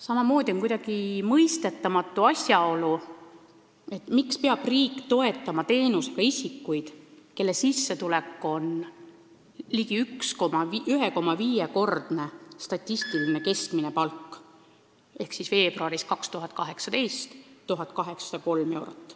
Samamoodi on mõistetamatu, miks peab riik toetama selle teenusega isikuid, kelle sissetulek on ligi 1,5-kordne statistiline keskmine palk ehk siis 2018. aasta veebruaris 1803 eurot.